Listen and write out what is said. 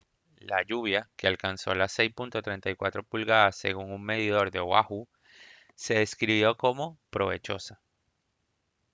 la lluvia que alcanzó las 6.34 pulgadas según un medidor de oahu se describió como «provechosa»